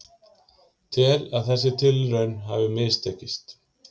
Tel að þessi tilraun hafi mistekist